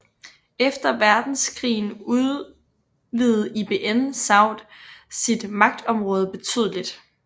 Efter verdenskrigen udvidede Ibn Saud sit magtområde betydeligt